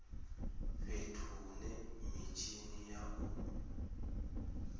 fhethu hune mitshini ya u